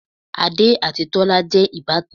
Adé àti Tọ́lá jẹ́ ìbátan